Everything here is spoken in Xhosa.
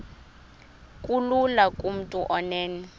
kulula kumntu onen